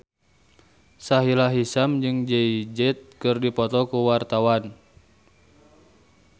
Sahila Hisyam jeung Jay Z keur dipoto ku wartawan